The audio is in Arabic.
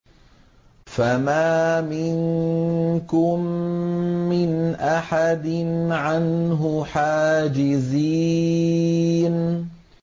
فَمَا مِنكُم مِّنْ أَحَدٍ عَنْهُ حَاجِزِينَ